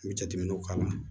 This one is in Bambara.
N bɛ jateminɛw k'a la